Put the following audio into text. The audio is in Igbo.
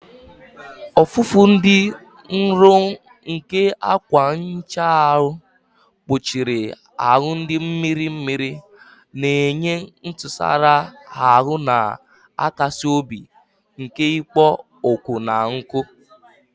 Ọfụfụ dị nro nke akwa nhicha ahụ kpuchiri ahụ dị mmiri mmiri, na-enye ntụsara ahụ na-akasi obi nke ikpo ọkụ na nkụ.